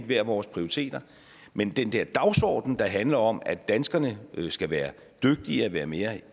hver vores prioriteter men den der dagsorden der handler om at danskerne skal være dygtige og være mere